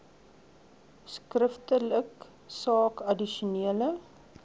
skriftelik saak addisionele